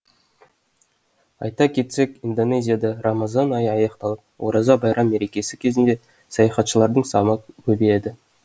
айта кетсек индонезияда рамазан айы аяқталып ораза байрам мерекесі кезінде саяхатшылардың саны көбейеді